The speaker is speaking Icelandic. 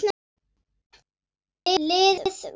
Liðið var liðið.